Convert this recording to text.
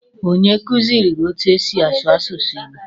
Onye kuziri gị etu e si asụ asụsụ Igbo?